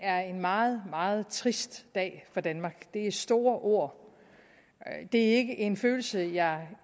er en meget meget trist dag for danmark det er store ord og det er ikke en følelse jeg